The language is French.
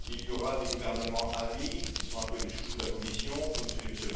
Il y aura des gouvernements amis qui sont un peu les chouchous de la Commission, comme celui de M.